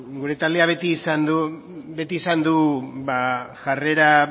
gure taldeak beti izan du jarrera